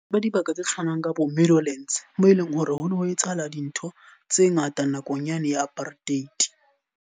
Ba dibaka tse tshwanang ka bo Meadowlance, moo eleng hore ho no ho etsahala dintho tse ngata nakong yane ya apartheid.